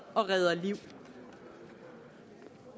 og redder liv